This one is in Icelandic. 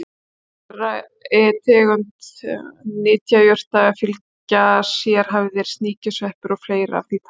Hverri tegund nytjajurta fylgja sérhæfðir sníkjusveppir og fleira af því tagi.